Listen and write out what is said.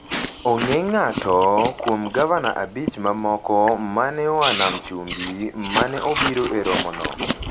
Onge ng’ato kuom gavana abich mamoko ma ne oa Nam Chumbi ma ne obiro e romono.